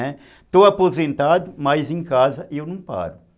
Né, estou aposentado, mas em casa eu não paro.